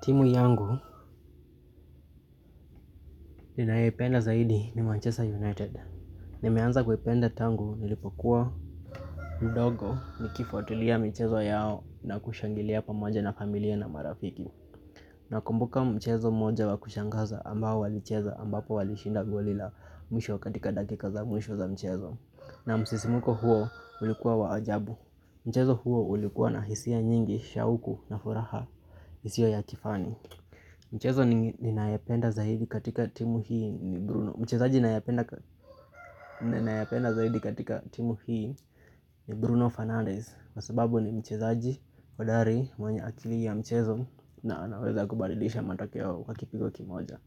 Timu yangu ninayependa zaidi ni Manchester United. Nimeanza kuipenda tangu nilipokuwa udogo nikifuatulia mchezo yao na kushangilia pamoja na familia na marafiki. Nakumbuka mchezo moja wa kushangaza ambao walicheza ambapo walishinda goli la mwisho katika dakika za mwisho za mchezo. Na msisimuko huo ulikuwa wa ajabu. Michezo huo ulikuwa na hisia nyingi, shauku na furaha, isio ya kifani. Mchezo ninayependa zaidi katika timu hii ni Bruno Fernandez. Kwa sababu ni mchezaji, hodari, mwenye akili ya mchezo na anaweza kubadilisha matokeo kwa kipigo kimoja.